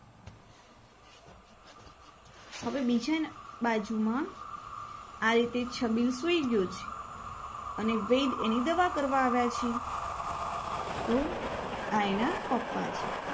હવે બીજા બાજુમાં આ રીતે છબીલ સૂઈગ્યો છે અને વૈધ એની દવા કરવા આવ્યા છે તો આ એના પપ્પા છે.